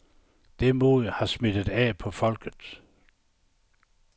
Det mod har smittet af på folket.